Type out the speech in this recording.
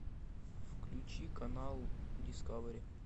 включи канал дискавери